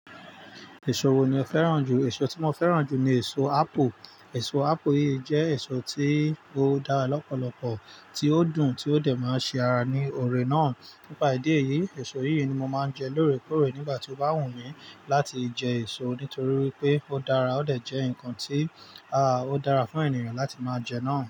Èso wo ni o féràn jù? Èso tí mo féràn jù ni èso apple. Èso apple yìí jẹ́ èso tí ó dára lọ́pọ̀lọpọ̀, tí ó dùn, tí ó dẹ̀ máa ṣe ara ní ọ̀rẹ́ náà. Nípa ìdí èyí, èso yìí ni mo máa ń jẹ lóòrèkóòrè nígbà tí ó bá wù mí láti jẹ èso, nítorí wipé ó dára, ó dẹ̀ jẹ́ ǹkan tí, à, ó dára fún ènìyàn láti máa jẹ náà.